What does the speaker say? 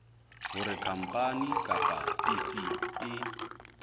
hore khampani kapa cc e